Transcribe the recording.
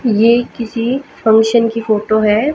ये किसी फंक्शन की फोटो है।